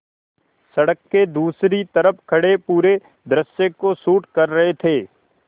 सड़क के दूसरी तरफ़ खड़े पूरे दृश्य को शूट कर रहे थे